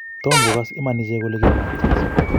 Tom kogas iman ichek kole kikonget Jeso